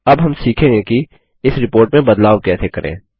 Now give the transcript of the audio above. अब हम सीखेंगे कि इस रिपोर्ट में बदलाव कैसे करें